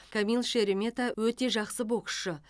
камил шеремета өте жақсы боксшы